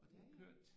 Ja ja